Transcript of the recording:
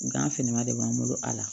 Gan finma de b'an bolo a la